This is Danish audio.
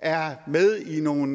er med i nogle